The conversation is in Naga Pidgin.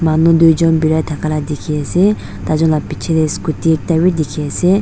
manu doi jun bera takala diki asae tai jun la bichae dae scooty ekta bi diki asae.